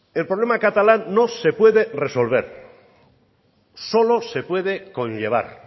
el problema catalán no se puede resolver solo se puede conllevar